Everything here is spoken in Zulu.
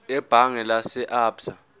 ebhange lase absa